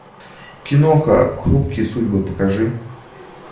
киноха хрупкие судьбы покажи